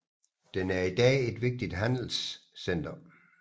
Den er i dag et vigtigt handelscenter